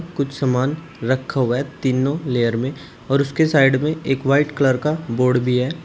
कुछ सामान रखा हुआ है तीनों लेयर में और उसके साइड में एक व्हाइट कलर का बोर्ड भी है।